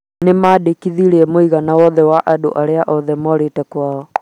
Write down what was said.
Nĩ maandĩkithirie mũigana wothe wa andũ arĩa morĩte kwao.